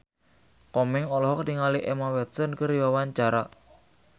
Komeng olohok ningali Emma Watson keur diwawancara